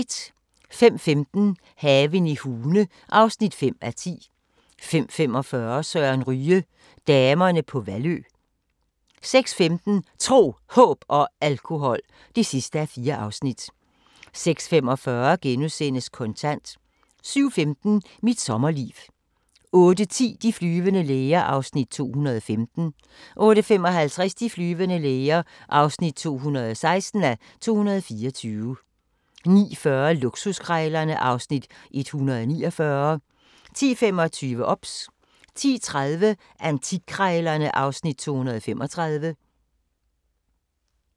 05:15: Haven i Hune (5:10) 05:45: Søren Ryge: Damerne på Vallø 06:15: Tro, Håb og Alkohol (4:4) 06:45: Kontant * 07:15: Mit sommerliv 08:10: De flyvende læger (215:224) 08:55: De flyvende læger (216:224) 09:40: Luksuskrejlerne (Afs. 149) 10:25: OBS 10:30: Antikkrejlerne (Afs. 235)